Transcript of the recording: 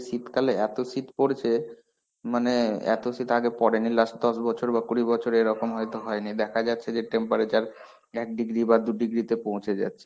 শীতকালে এত শীত পরেছে, মানে এত শীত আগে পরেনি last দশ বছর বা কুড়ি বছরে এরকম হয়নি. দেখা যাচ্ছে যে temperature এক degree দু degree তে পৌছে যাচ্ছে.